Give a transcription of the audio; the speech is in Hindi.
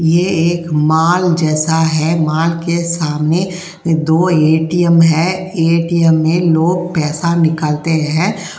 ये एक माल जैसा है। माल के सामने दो ए.टी.एम. हैं। ए.टी.एम. में लोग पैसा निकालते हैं।